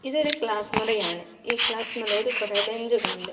ഇതൊരു ക്ലാസ് മുറിയാണ് ഈ ക്ലാസ് മുറിയിൽ കോറെ ബെഞ്ചുകൾ ഉണ്ട്.